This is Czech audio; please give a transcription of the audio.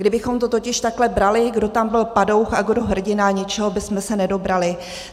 Kdybychom to totiž takhle brali, kdo tam byl padouch a kdo hrdina, ničeho bychom se nedobrali.